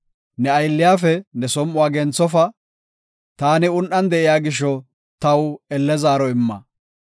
Ne aylliyafe ne som7uwa genthofa; taani un7an de7iya gisho taw elle zaaro imma.